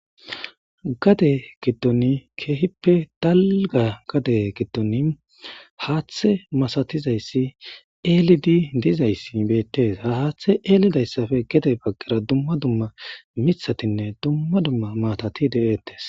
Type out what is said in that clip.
gade giddon keehippe dalga gade giddon haaththe masatizayssi eelidi dizayssi beettees ha haaththe eelidayssafe gede baggera dumma dumma mithatinne dumma dumma maatati de7ettes